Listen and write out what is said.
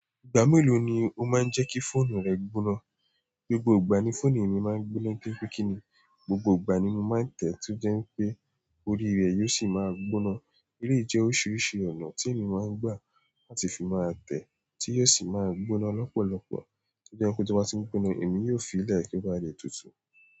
Ìgbà mélòó ni o máa ń jẹ́ kí fóònù rẹ gbóná? Gbogbo ìgbà ni fóònù mi máa ń gbóná nítorí pé kí ni, gbogbo ìgbà ni mo máa ń tẹ̀ tí ó jẹ́ pé orí rẹ̀ yóò sì máa gbóná. Ilé ìjẹ́ oríṣiríṣi ọ̀nà tí èmi máa ń gbà láti fi máa tẹ̀ tí yóò sì máa gbóná lọ́pọ̀lọpọ̀. Tí ó jẹ́ pé tí mo bá ti ń gbóná, èmi yóò fi láì kí wá jẹ́ tútù.